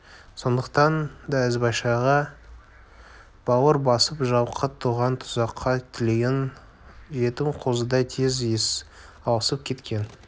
сондықтан да ізбайшаға бауыр басып жалқы туған тұсаққа теліген жетім қозыдай тез иіс алысып кеткен